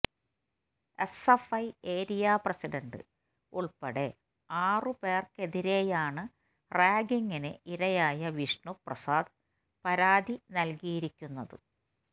SFI area president ഉൾപ്പെടെ ആറു പേർക്കെതിരെയാണ് റാഗിംഗിന് ഇരയായ വിഷ്ണു പ്രസാദ് പരാതി നൽകിയിരിക്കുന്നത്